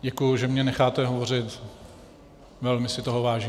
Děkuji, že mě necháte hovořit, velmi si toho vážím.